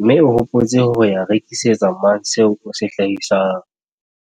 mme o hopotse ho ya rekisetsa mang seo o se hlahisang?